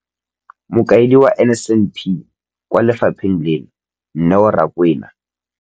Mokaedi wa NSNP kwa lefapheng leno, Neo Rakwena.